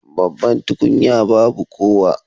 Babban tukunya babu kowa